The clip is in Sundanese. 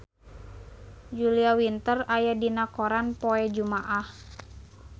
Julia Winter aya dina koran poe Jumaah